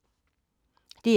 DR2